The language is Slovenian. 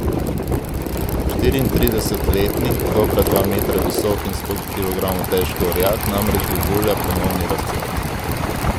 Štiriintridesetletni, dobra dva metra visoki in sto kilogramov težki orjak namreč doživlja ponovni razcvet.